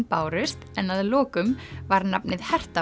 bárust en að lokum var nafnið